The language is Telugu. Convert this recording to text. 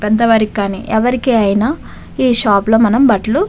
పెద్దవారికి కానీ ఎవరికి అయినా ఈ షాప్ లో మనం బట్టలు --